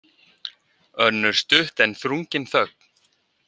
Önnur stutt en þrungin þögn.